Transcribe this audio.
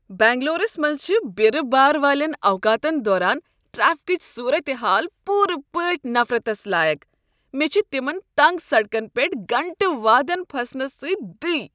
بنگلورس منٛز چھِ بیرٕ بارٕ والین اوقاتن دوران ٹریفکٕچ صورت حال پوٗرٕ پٲٹھۍ نفرتس لایق ۔ مےٚ چھِ تِمن تنگ سڈكن پیٹھ گھنٹہٕ وادن پھسنس سٕتۍ دٕے ۔